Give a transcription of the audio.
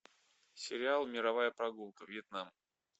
сериал мировая прогулка вьетнам